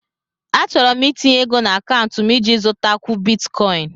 Achọrọ m itinye ego na akaụntụ m iji zụtakwu Bitikoin